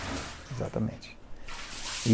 exatamente.